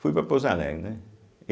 Fui para Pouso Alegre, né?